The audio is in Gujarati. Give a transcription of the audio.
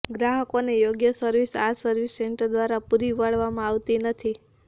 ગ્રાહકોને યોગ્ય સર્વિસ આ સર્વિસ સેન્ટર દ્વારા પુરી પાડવામાં આવતી નથી